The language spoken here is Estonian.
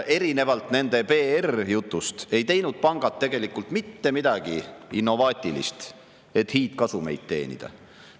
Erinevalt nende PR-jutust ei teinud pangad tegelikult mitte midagi innovaatilist, et hiidkasumeid teenida.